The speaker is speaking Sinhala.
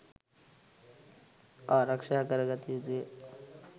ආරක්‍ෂා කර ගත යුතුය.